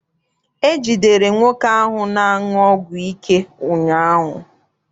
E jidere nwoke ahụ na-aṅụ ọgwụ ike ụnyaahụ.